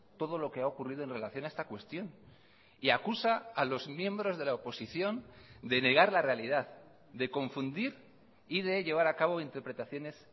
todo lo que ha ocurrido en relación a esta cuestión y acusa a los miembros de la oposición de negar la realidad de confundir y de llevar acabo interpretaciones